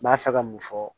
N b'a fɛ ka mun fɔ